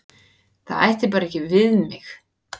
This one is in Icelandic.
Það ætti bara ekki við mig.